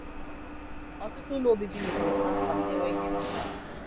Ọtụtụ ụlọ obibi mebiri kpam kpam na nweghi nrụta..